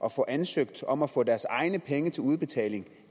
at få ansøgt om at få deres egne penge til udbetaling